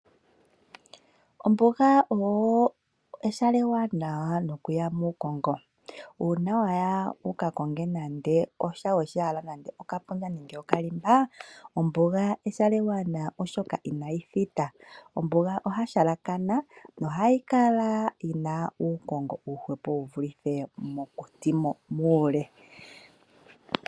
Ombuga oyo ehala ewanawa nokuya muukongo. Uuna wa ya wu ka konge nande osha we shi hala nande okapundja, nenge okalimba, ombuga ehala ewanawa oshoka inayi thita. Ombuga oya halakana, nohayi kala yi na uukongo uuhwepo wu vulithe mokuti muule.